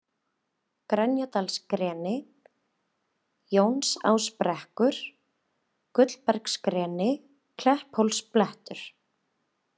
Grenjadalsgreni, Jónsásbrekkur, Gullbergsgreni, Klepphólsblettur